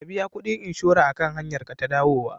Ka biya kuɗin inshora akan hanyar ka ta dawowa.